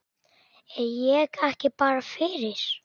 Er ég ekki bara fyrir?